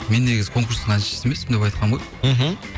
мен негізі конкурстың әншісі емеспін деп айтқанмын ғой мхм